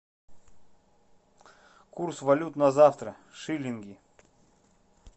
курс валют на завтра шиллинги